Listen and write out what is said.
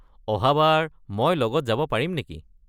অহাবাৰ মই লগত যাব পাৰিম নেকি?